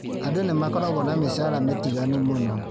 Andũ nĩmakoragwo na mĩcara mĩtiganu mũno